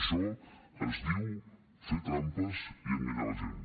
això es diu fer trampes i enganyar la gent